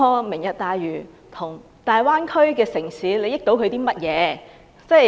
"明日大嶼"如何令大灣區的城市受惠？